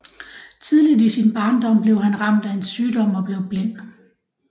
Tidligt i sin barndom blev han ramt af en sygdom og blev blind